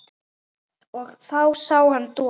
Þá sá hann Don